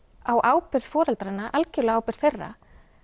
á ábyrgð foreldranna algjörlega á ábyrgð þeirra